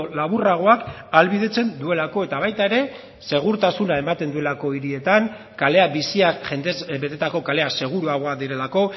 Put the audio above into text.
laburragoak ahalbidetzen duelako eta baita ere segurtasuna ematen duelako hirietan kaleak biziak jendez betetako kaleak seguruagoak direlako